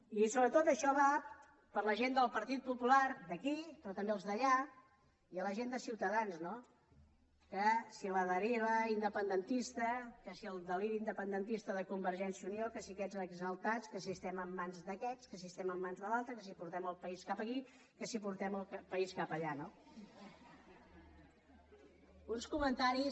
i sobretot això va per la gent del partit popular d’aquí però també els d’allà i a la gent de ciutadans no que si la deriva independentista que si el deliri independentista de convergència i unió que si aquests exaltats que si estem en mans d’aquests que si estem en mans de l’altre que si portem el país cap aquí que si portem el país cap allà no uns comentaris